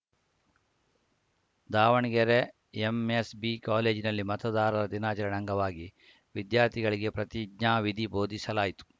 Davanagere MSB ಕಾಲೇಜಿನಲ್ಲಿ ಮತದಾರರ ದಿನಾಚರಣೆ ಅಂಗವಾಗಿ ವಿದ್ಯಾರ್ಥಿಗಳಿಗೆ ಪ್ರತಿಜ್ಞಾವಿಧಿ ಬೋಧಿಸಲಾಯಿತು